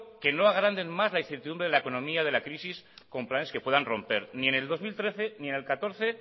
que no agranden más la incertidumbre en la economía de la crisis con planes que puedan romper ni en el dos mil trece ni en el dos mil catorce